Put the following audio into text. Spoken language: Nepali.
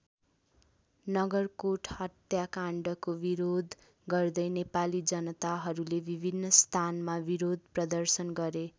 नगरकोट हत्याकाण्डको विरोध गर्दै नेपाली जनताहरूले विभिन्न स्थानमा विरोध प्रदर्शन गरे।